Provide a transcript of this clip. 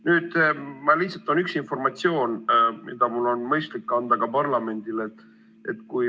Nüüd, lihtsalt on üks informatsioon, mida mul on mõistlik anda edasi ka parlamendile.